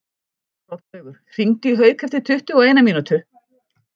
Hrollaugur, hringdu í Hauk eftir tuttugu og eina mínútur.